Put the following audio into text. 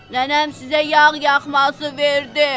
Nənəm sizə yağ yaxması verdi!